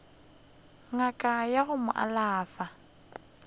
ngaka ya go mo alafa